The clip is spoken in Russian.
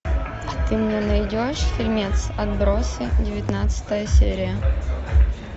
ты мне найдешь фильмец отбросы девятнадцатая серия